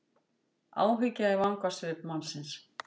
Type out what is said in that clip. Áhyggja í vangasvip mannsins.